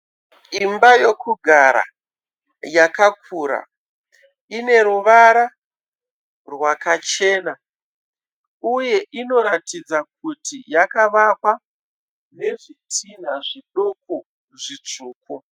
Imba yokugara yakakura. Ineruvara rwakachena. Uye inoratidza kuti yakavakwa nezvitinha zvidoko zvitsvuku.